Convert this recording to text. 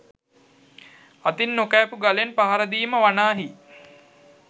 අතින් නොකෑපූ ගලෙන් පහරදීම වනාහි